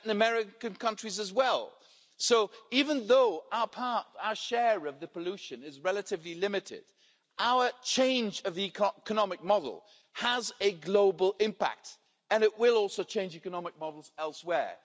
Latin American countries as well. Even though our share of the pollution is relatively limited, our change of economic model has a global impact, and it will also change economic models elsewhere.